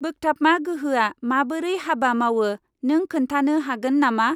बोग्थाबमा गोहोआ माबोरै हाबा मावो नों खोन्थानो हागोन नामा?